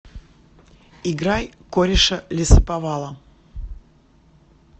играй кореша лесоповала